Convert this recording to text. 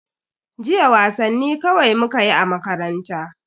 Jiya wasanni kawai mukayi a makaranta.